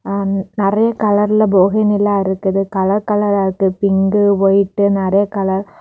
நிறைய கலர்ல போகி நிலா இருக்குது கலர் கலரா இருக்குது பிங்கு ஒயிட் நறைய கலர் .